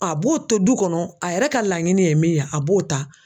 A b'o to du kɔnɔ a yɛrɛ ka laɲini ye min ye a b'o ta